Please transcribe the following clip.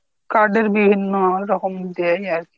card এর বিভিন্ন রকম দেয় আরকি